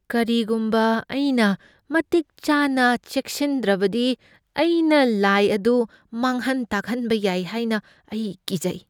ꯀꯔꯤꯒꯨꯝꯕ ꯑꯩꯅ ꯃꯇꯤꯛ ꯆꯥꯅ ꯆꯦꯛꯁꯤꯟꯗ꯭ꯔꯕꯗꯤ ꯑꯩꯅ ꯂꯥꯏ ꯑꯗꯨ ꯃꯥꯡꯍꯟ ꯇꯥꯛꯍꯟꯕ ꯌꯥꯏ ꯍꯥꯏꯅ ꯑꯩ ꯀꯤꯖꯩ꯫